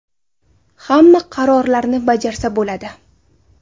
Hamma qarorlarni bajarsa bo‘ladi.